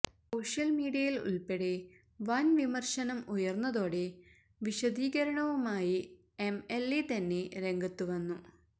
social മീഡിയയില് ഉള്പ്പെടെ വന് വിമര്ശനം ഉയര്ന്നതോടെ വിശദീകരണവുമായി എംഎല്എ തന്നെ രംഗത്ത് വന്നു